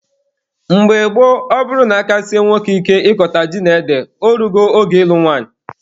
Mgbe gboo, ọ bụrụ na aka sie nwoke ike ịkọta ji na ede, o rugo oge ịlụ nwanyị.